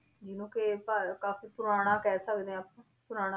ਜਿਹਨੂੰ ਕਿ ਭਾ~ ਕਾਫ਼ੀ ਪੁਰਾਣਾ ਕਹਿ ਸਕਦੇ ਹਾਂ ਆਪਾਂ ਪੁਰਾਣ~